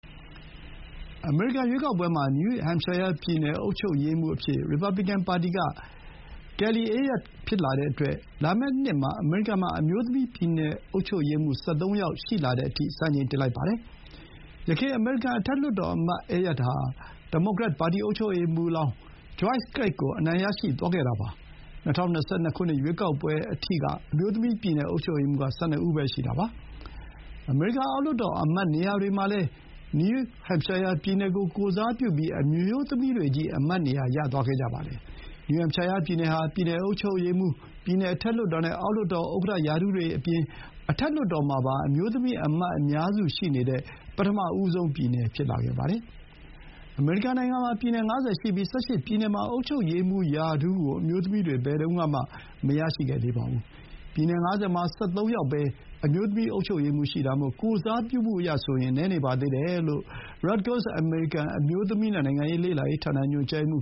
အမေရိကန် ရွေးကောက်ပွဲမှာ နယူးဟမ်ရှိုင်းယား ပြည်နယ် အုပ်ချုပ်ရေးမှူး အဖြစ် ရီပါဘလီကန် ပါတီက Kelly Ayotte ဖြစ်လာတဲ့အတွက် လာမယ့်နှစ်မှာ အမေရိကန် မှာ အမျိုးသမီး ပြည်နယ်အုပ်ချုပ်ရေးမှူး ၁၃ ယောက် အဖြစ် စံချိန်တင်လိုက်ပါတယ်။ ယခင် အမေရိကန် အထက်လွှတ်တော်အမတ် Ayotte ဟာ ဒီမိုကရက် ပါတီ အုပ်ချုပ်ရေးမှူးလောင်း Joyce Craig ကို အနိုင် ရရှိသွားခဲ့တာ ဖြစ်ပါတယ်။ ၂၀၂၂ ရွေးကောက်ပွဲအထိက အမျိုးသမီး ပြည်နယ် အုပ်ချုပ်ရေးမှူး က ၁၂ ပဲ ရှိတာပါ။ အမေရိကန် အောက်လွှတ်တော် အမတ်နေရာတွေမှာလည်း နယူးဟမ်ရှိုင်းယား ပြည်နယ်ကို ကိုယ်စားပြုဖို့ အမျိုးသမီးတွေချည်း အမတ်နေရာ ယူထားကြတာပါ။ နယူးဟမ်ရှိုင်းယား ပြည်နယ် ဟာ ပြည်နယ်အုပ်ချုပ်ရေးမှူး၊ ပြည်နယ် အထက်လွှတ်တော် နဲ့ အောက်လွှတ်တော် ဥက္ကဋ္ဌရာထူးတွေ နဲ့ အထက်လွှတ်တော်မှာ အမျိုးသမီး အမတ် အများစု ရှိနေတဲ့ ပထမဆုံး ပြည်နယ် ဖြစ်လာပါတယ်။ အမေရိကန် နိုင်ငံမှာ ပြည်နယ် ၅၀ ရှိပြီး ၁၈ ပြည်နယ်မှာ အုပ်ချုပ်ရေးမှူးရာထူးကို အမျိုးသမီးတွေ ဘယ်တုန်းကမှ မရရှိသေးပါဘူး။ ပြည်နယ် ၅၀ မှာ ၁၃ ယောက်ပဲ အမျိုးသမီး အုပ်ချုပ်ရေးမှူး ရှိတာမို့ ကိုယ်စားပြုမှုအရ နည်းနေပါသေးတယ်လို့ Rutgers အမေရိကန် အမျိုးသမီး နဲ့ နိုင်ငံရေး လေ့လာရေး ဌာန ညွှန်ကြားရေးမှ